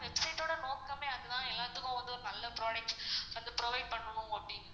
website ஓட நோக்கமே அதுதான் எல்லாத்துக்கும் வந்து ஒரு நல்ல products வந்து provide பண்ணனும் அப்படின்னு